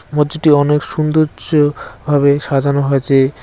মসজিদটি অনেক সুন্দর্য ভাবে সাজানো হয়েছে।